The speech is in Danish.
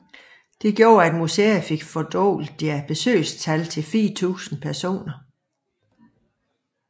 Dette gjorde at museet fik fordoblet deres besøgstal til 4000 personer